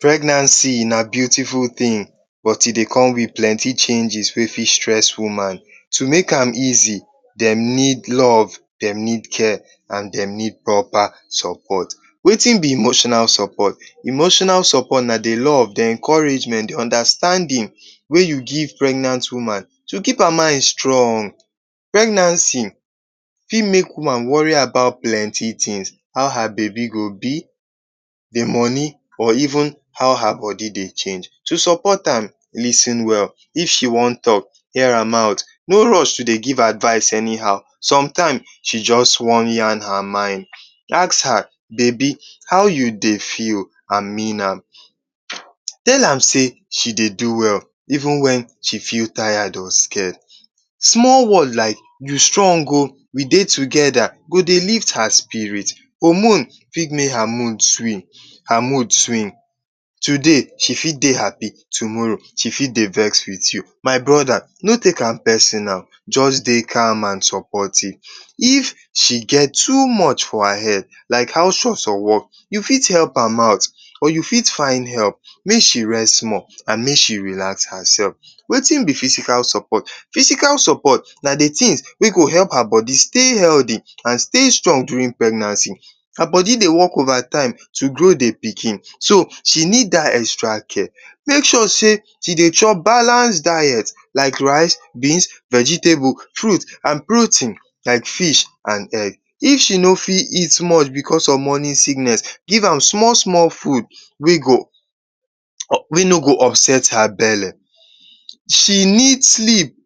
Pregnancy na beautiful tin but e dey come with plenty changes wey fit stress woman. To make am easy, dem need love, dem need care and dem need propa sopot. Weitn be emotional sopot? Emotional sopot na the law, the encouragement, the understanding, wey you give pregnant woman to keep her mind strong. Pregnancy fit make womam wori about plenty tins: how are bebi go be, the moni amd even how her bodi dey change. To sopot am, lis ten well, if she wan talk, hear her mouth, no rush to dey give advice anyhow somtime she just wan yan her mind, ask her; bebi how you dey feel? And mean am, tell am sey she dey do well even wen she feel tired or scared. Small word like you strong o, we dey togeda go dey lift her spirit. Hormone fit make her mood swing, today she fit dey happy, tomorrow she fit dey vex with you. My broda no take am personal, just dey kind and sopotive. If she get too much for her head like…….? You fit help am out or you fit find rest make she rest small, and make she relax hersef. Wetin be physical sopot? Physical sopot na the tin wey go help her body stay heldy, stay strong durin pregnancy, her body dey work ova time to grow the pikin, she need dat extra care. Make sure sey she chop balance diet like rice, beans, vegetables and protein like fish and egg. If she no fit eat small because of mornin sickness, give am small-small fud wey no go upset her bele. She need sleep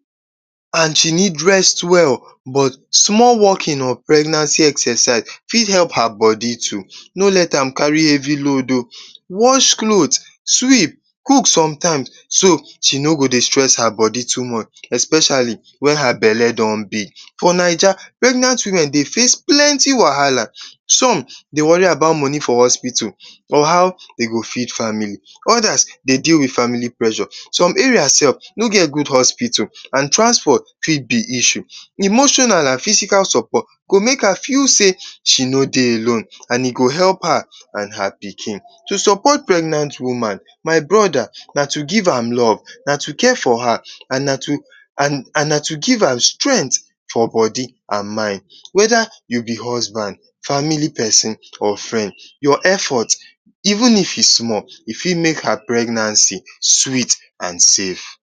and she need rest well but small walkin of pregnancy exercise fit help her bodi too. No lte am kari hevy load o, wash clot, sweep, cook sometimes so she no go dey stress her bodi too much, especiali wen her bele don big. For naija, pregnant women dey face plenty wahala, som dey wori about moni for hospital or how de go feed famili odas deal with famili pressure, som area sef no get gud hospital and transport fit be issue. Emotional and physical sopot go make her feel sey she no dey alone. And e go help her and her pikin. To sopot pregnant woman, my broda, na to give am love, to care for her and na to give am strength for bodi and mind, weda you be husband, family pesin or frend, your effort even if e small, e fit make her pregnancy sweet and safe.